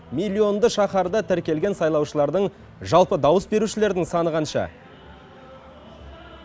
миллионды шаһарда тіркелген сайлаушылардың жалпы дауыс берушілердің саны қанша